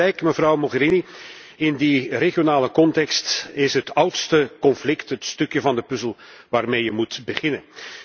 En u heeft gelijk, mevrouw Mogherini, in die regionale context is het oudste conflict het stukje van de puzzel waarmee je moet beginnen.